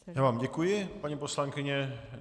Já vám děkuji, paní poslankyně.